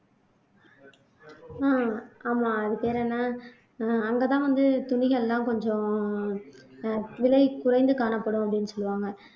உம் ஆமா அது பேர் என்ன உம் அங்க தான் வந்து துணிகள் எல்லாம் கொஞ்சம் அஹ் விலை குறைந்து காணப்படும் அப்படீன்னு சொல்லுவாங்க